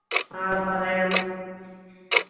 ആ പറയാം